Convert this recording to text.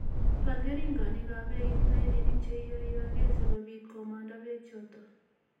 Baal keringonikap beek eng' tairinik cheiyoioge sikobit komanda beek chotok